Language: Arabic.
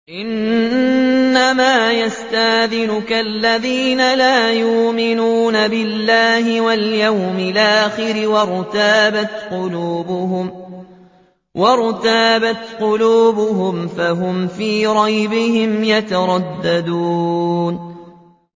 إِنَّمَا يَسْتَأْذِنُكَ الَّذِينَ لَا يُؤْمِنُونَ بِاللَّهِ وَالْيَوْمِ الْآخِرِ وَارْتَابَتْ قُلُوبُهُمْ فَهُمْ فِي رَيْبِهِمْ يَتَرَدَّدُونَ